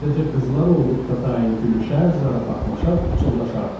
Sadəcə qızlar olduqda daim gülüşər, zarafatlaşar, pıçıldaşardılar.